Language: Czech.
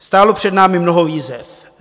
Stálo před námi mnoho výzev.